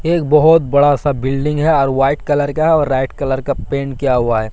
एक बहोत बड़ा सा बिल्डिंग है और वाइट कलर का है और रेड कलर का पेंट किया हुआ है।